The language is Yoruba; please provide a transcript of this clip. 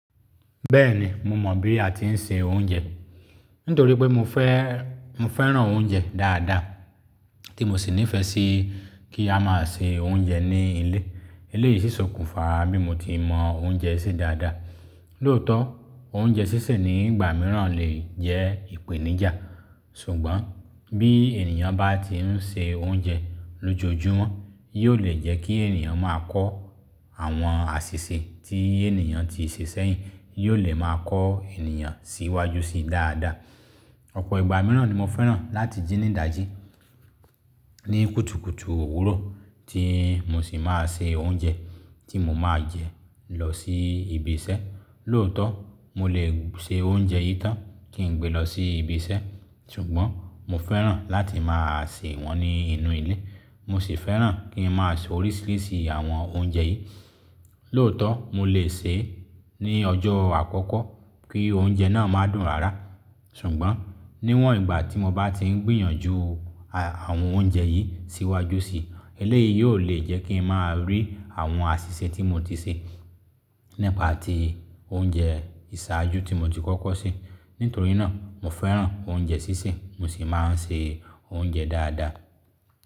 Bẹ́ẹ̀ni, mo mọ̀ bí a ti ń se oúnjẹ. Nítorí pé mo fẹ́, mo fẹ́ràn oúnjẹ dáadáa tí mo sì nífẹ̀ẹ́ sí kí a máa se oúnjẹ ní ilé. Eléyìí ṣì sọkúnfà bí mo ti mọ oúnjẹ se dáadáa. Lóòótọ́, oúnjẹ sísè ní ìgbà mìíràn lè jẹ́ ìpèníjà. Ṣùgbọ́n bí ènìyàn bá ti ń ṣe oúnjẹ lójoojúmọ́, yóò lè jẹ́ kí ènìyàn máa kọ́ àwọn àṣìṣe tí ènìyàn ti ṣe sẹ́yìn, yóò lè máa kọ ènìyàn síwájú sí dáadáa. Ọ̀pọ̀ ìgbà mìíràn ni mo fẹ́ràn láti jí ní dá jí ní kùtùkùtù òwúrọ̀ tí mo sì máa se oúnjẹ tí mo máa jẹ lọ sí ibi isẹ́. Lóòótọ́, mo lè se oúnjẹ yìí tán kí n gbé lọ sí ibi isẹ́. Ṣùgbọ́n mo fẹ́ràn láti máa se wọ́n ní inú ilé. Mo sì fẹ́ràn kí n máa ṣe oríṣiríṣi àwọn oúnjẹ yìí. Lóòótọ́, mo lè sè é ní ọjọ́ àkọ́kọ́ kí oúnjẹ náà máa dùn rara. Ṣùgbọ́n níwọ̀n ìgbà tí mo bá ti ń gbìyànjú a àwọn oúnjẹ yìí síwájú sí i, eléyìí yóò lè jẹ́ kí n máa rí àwọn àsìse tí mo ti se nípa ti oúnjẹ ìsájú tí mo ti kọ́kọ́ se. Nítorí náà, mo fẹ́ràn oúnjẹ sísè mo sì máa ń se oúnjẹ dáadáa.